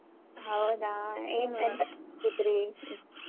ಹೌದಾ ಏನ್ ಕೂತ್ರಿ?